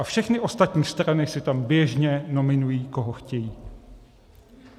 A všechny ostatní strany si tam běžně nominují, koho chtějí.